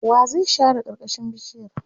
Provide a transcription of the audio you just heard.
wa zai share karkashin bishiyar?